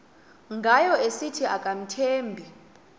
ngayo esithi akamthembi